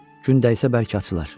Gün dəysə bəlkə açılar.